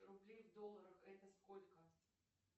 рублей в долларах это сколько